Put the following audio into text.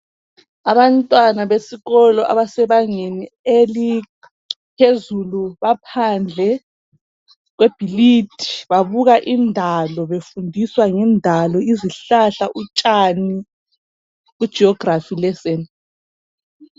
abantwana besikolo abasebangeni eliphezulu baphandle kwebhilidi babuka indalo befundiswa ngendalo izihlahla utshani ku geography lesson